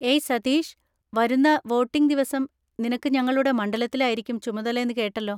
ഏയ് സതീഷ്, വരുന്ന വോട്ടിങ് ദിവസം നിനക്ക് ഞങ്ങളുടെ മണ്ഡലത്തിലായിരിക്കും ചുമതല എന്ന് കേട്ടല്ലോ.